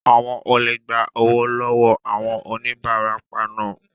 Àwọn olè gba owó lọ wọọ àwọn onibarapa naa